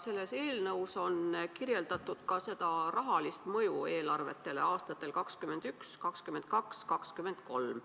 Selles eelnõus on kirjeldatud ka rahalist mõju eelarvetele aastatel 2021, 2022 ja 2023.